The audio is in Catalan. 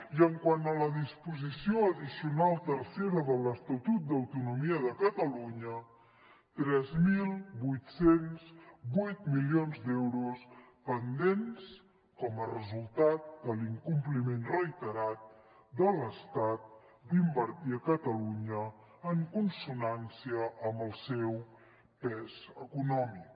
i quant a la disposició addicional tercera de l’estatut d’autonomia de catalunya tres mil vuit cents i vuit milions d’euros pendents com a resultat de l’incompliment reiterat de l’estat d’invertir a catalunya en consonància amb el seu pes econòmic